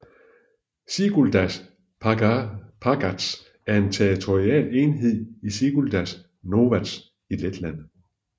Siguldas pagasts er en territorial enhed i Siguldas novads i Letland